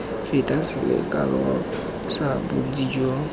feta selekano sa bontsi jo